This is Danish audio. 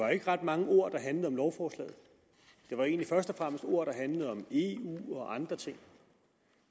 var ikke ret mange ord der handlede om lovforslaget det var egentlig først og fremmest ord der handlede om eu og andre ting